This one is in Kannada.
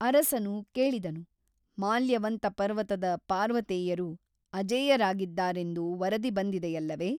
ಅರಸನು ಕೇಳಿದನು ಮಾಲ್ಯವಂತ ಪರ್ವತದ ಪಾರ್ವತೇಯರು ಅಜೇಯರಾಗಿದ್ದಾರೆಂದು ವರದಿ ಬಂದಿದೆಯಲ್ಲವೇ?